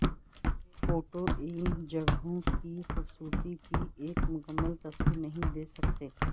photo ان جگہوں کی خوبصورتی کی ایک مکمل تصویر نہیں دے سکتے